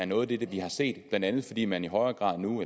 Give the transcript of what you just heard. noget af det vi har set blandt andet fordi man i højere grad nu